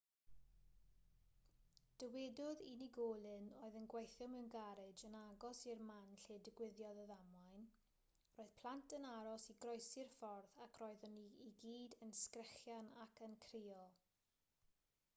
dywedodd unigolyn oedd yn gweithio mewn garej yn agos i'r man lle digwyddodd y ddamwain roedd plant yn aros i groesi'r ffordd ac roedden nhw i gyd yn sgrechian ac yn crio